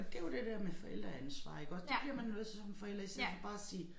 Og det jo det der med forældreansvar iggå det bliver man jo nødt som forælder i stedet for bare at sige